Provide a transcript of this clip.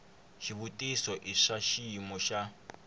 xivutiso i swa xiyimo xa